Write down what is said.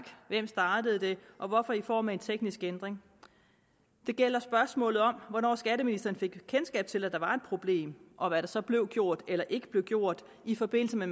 hvem startede det og hvorfor i form af en teknisk ændring det gælder spørgsmålet om hvornår skatteministeren fik kendskab til at der var et problem og hvad der så blev gjort eller ikke blev gjort i forbindelse med